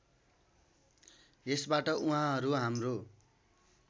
यसबाट उहाँहरू हाम्रो